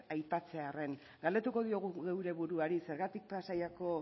aipatzearren galdetuko diogu geure buruari zergatik pasaiako